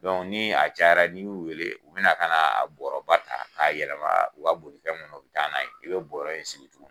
ni a cayara n'i y'u weele u bɛ na ka na a bɔɔrɔ ba ta k'a yɛlɛma u ka bolifɛn kɔnɔ u bɛ taa n'a ye i bɛ bɔɔrɔ in sigi.